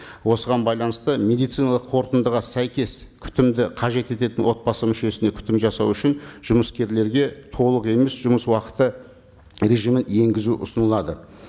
осыған байланысты медициналық қорытындыға сәйкес күтімді қажет ететін отбасы мүшесіне күтім жасау үшін жұмыскерлерге толық емес жұмыс уақыты режимі енгізу ұсынылады